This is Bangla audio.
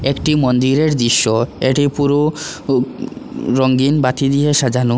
একটি মন্দিরের দৃশ্য এটি পুরো উম রঙ্গিন বাতি দিয়ে সাজানো।